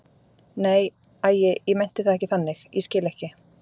Nei, æi, ég meinti það ekki þannig, ég skil ekki.